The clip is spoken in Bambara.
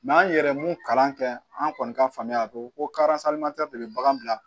an yɛrɛ ye mun kalan kɛ an kɔni ka faamuya ko de be bagan bila